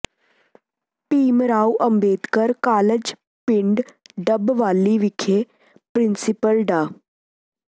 Bhim Rao Ambedkar college ਪਿੰਡ ਡੱਬਵਾਲੀ ਵਿਖੇ principal ਡਾ